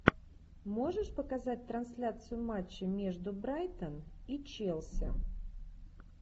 можешь показать трансляцию матча между брайтон и челси